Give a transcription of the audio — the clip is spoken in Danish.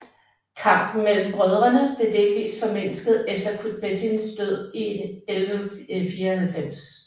Kampen mellem brødrene blev delvist formindsket efter Kutbettins død i 1194